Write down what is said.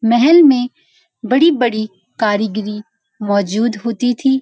महल में बड़ी-बड़ी कारीगरी मौजूद होती थी।